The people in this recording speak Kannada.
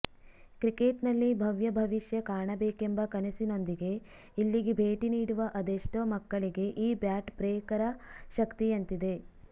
ಕ್ರಿಕೆಟ್ನಲ್ಲಿ ಭವ್ಯ ಭವಿಷ್ಯ ಕಾಣಬೇಕೆಂಬ ಕನಸಿನೊಂದಿಗೆ ಇಲ್ಲಿಗೆ ಭೇಟಿ ನೀಡುವ ಅದೆಷ್ಟೋ ಮಕ್ಕಳಿಗೆ ಈ ಬ್ಯಾಟ್ ಪ್ರೇಕರ ಶಕ್ತಿಯಂತಿದೆ